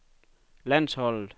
landsholdet